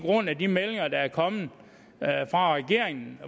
meldinger der er kommet fra regeringen